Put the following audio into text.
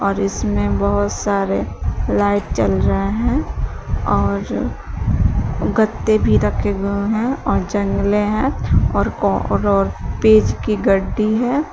और इसमें बहोत सारे लाइट जल रहे हैं और गत्ते भी रखे गए हैं और जंगले हैं और पेज की गड्डी है।